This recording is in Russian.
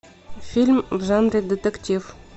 фильм в жанре детектив